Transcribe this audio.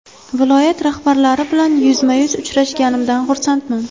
Viloyat rahbarlari bilan yuzma-yuz uchrashganimdan xursandman.